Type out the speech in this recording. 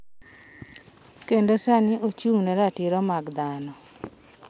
Kendo sani ochung’ ne ratiro mag dhano.